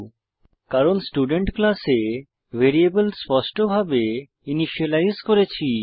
কারণ আমরা স্টুডেন্ট ক্লাসে ভ্যারিয়েবল স্পষ্টভাবে ইনিসিয়েলাইজ করেছি